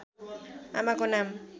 आमाको नाम